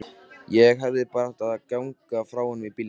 Ég hefði bara átt að ganga frá honum í bílnum.